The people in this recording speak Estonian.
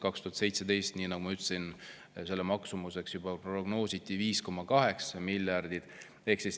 2017. aastal, nii nagu ma ütlesin, prognoositi selle maksumuseks juba 5,8 miljardit.